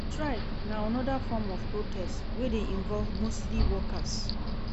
Strikes na another form of protest wey de invoved mostly workers